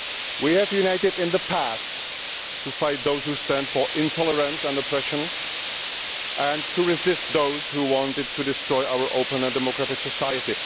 We have united in the past to fight those who stand for intolerance and oppression, and to resist those who wanted to destroy our open and democratic society